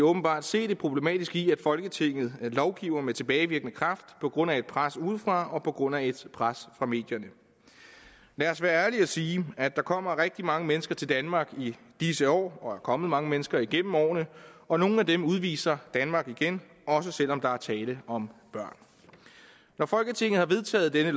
åbenbart se det problematiske i at folketinget lovgiver med tilbagevirkende kraft på grund af et pres udefra og på grund af et pres fra medierne lad os være ærlige og sige at der kommer rigtig mange mennesker til danmark i disse år og er kommet mange mennesker igennem årene og nogle af dem udviser danmark igen også selv om der er tale om børn når folketinget har vedtaget dette